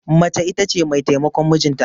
Mace ita ce mai taimakon mijinta.